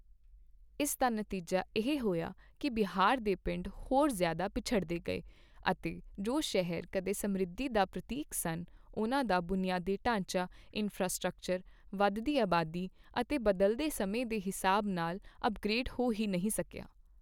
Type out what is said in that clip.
ਇਸ ਦਾ ਨਤੀਜਾ ਇਹ ਹੋਇਆ ਕੀ ਬਿਹਾਰ ਦੇ ਪਿੰਡ ਹੋਰ ਜ਼ਿਆਦਾ ਪਿਛੜਦੇ ਗਏ ਅਤੇ ਜੋ ਸ਼ਹਿਰ ਕਦੇ ਸਮ੍ਰਿੱਧੀ ਦਾ ਪ੍ਰਤੀਕ ਸਨ, ਉਨ੍ਹਾਂ ਦਾ ਬੁਨਿਆਦੀ ਢਾਂਚਾ ਇੰਫ੍ਰਾਸਟ੍ਰਕਚਰ ਵਧਦੀ ਆਬਾਦੀ ਅਤੇ ਬਦਲਦੇ ਸਮੇਂ ਦੇ ਹਿਸਾਬ ਨਾਲ ਅੱਪਗ੍ਰੇਡ ਹੋ ਹੀ ਨਹੀਂ ਸਕਿਆ।